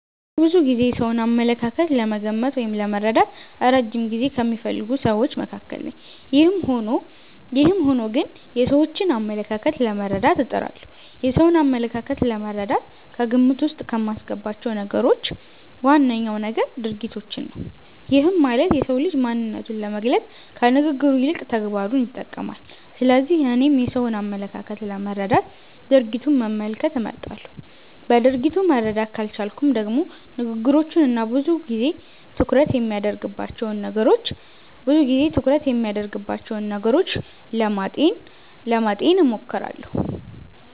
እኔ ብዙ ጊዜ የሰውን አመለካከት ለመገመት ወይም ለመረዳት እረጅም ጊዜ ከሚፈልጉ ስዎች መካከል ነኝ። ይህም ሆኖ ግን የሰዎችን አመለካከት ለመረዳት እጥራለሁ። የሰውን አመለካከት ለመረዳት ከግምት ዉስጥ ከማስገባቸው ነገሮች ዋነኛው ነገር ድርጊቶችን ነው። ይህም ማለት የሰው ልጅ ማንነቱን ለመግለፅ ከንግግሩ ይልቅ ተግባሩን ይጠቀማል። ስለዚህ እኔም የሰውን አመለካከት ለመረዳት ድርጊቱን መመልከት እመርጣለሁ። በድርጊቱ መረዳት ካልቻልኩም ደግሞ ንግግሮቹን እና ብዙ ጊዜ ትኩረት የሚያደርግባቸውን ነገሮች ለማጤን እሞክራለሁ።